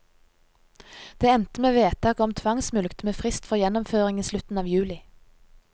Det endte med vedtak om tvangsmulkt med frist for gjennomføring i slutten av juli.